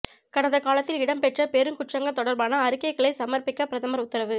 கடந்த காலத்தில் இடம்பெற்ற பெரும் குற்றங்கள் தொடர்பான அறிக்கைகளை சமர்ப்பிக்க பிரதமர் உத்தரவு